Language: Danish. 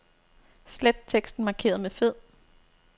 Slet teksten markeret med fed.